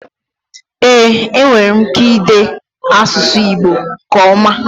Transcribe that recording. Ee enwerem ike ide asusu igbo nke oma.